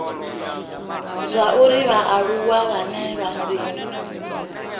zwauri vhaaluwa vhane vha si